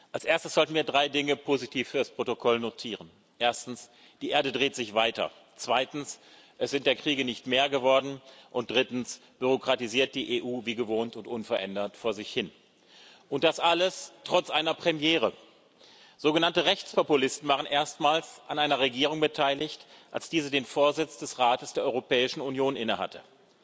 Als erstes sollten wir drei Dinge positiv fürs Protokoll notieren Erstens Die Erde dreht sich weiter, zweitens es sind der Kriege nicht mehr geworden, und drittens bürokratisiert die EU wie gewohnt und unverändert vor sich hin. Und das alles trotz einer Premiere Sogenannte Rechtspopulisten waren erstmals an einer Regierung beteiligt, als diese den Vorsitz des Rates der Europäischen Union innehatte.